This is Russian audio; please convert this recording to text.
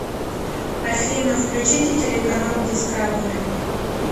афина включите телеканал дискавери